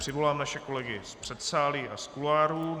Přivolám naše kolegy z předsálí a z kuloárů.